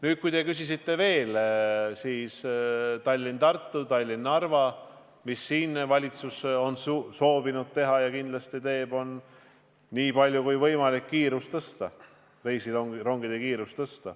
Nüüd, kui te küsite Tallinna–Tartu ja Tallinna–Narva kohta, selle kohta, mida valitsus nende suhtes on soovinud teha, siis valitsus on soovinud ja kindlasti ka teeb seda, et suurendab nii palju kui võimalik reisirongide kiirust.